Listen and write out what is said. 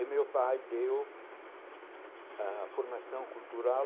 E meu pai deu a formação cultural